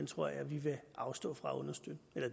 tror jeg vi vil afstå fra at understøtte